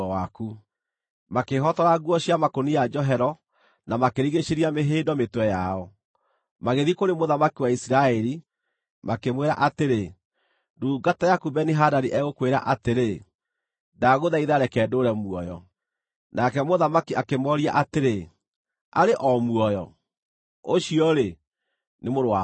Makĩĩhotora nguo cia makũnia njohero, na makĩrigiicĩria mĩhĩndo mĩtwe yao, magĩthiĩ kũrĩ mũthamaki wa Isiraeli, makĩmwĩra atĩrĩ, “Ndungata yaku Beni-Hadadi egũkwĩra atĩrĩ, ‘Ndagũthaitha reke ndũũre muoyo.’ ” Nake mũthamaki akĩmooria atĩrĩ, “Arĩ o muoyo? Ũcio-rĩ, nĩ mũrũ wa baba.”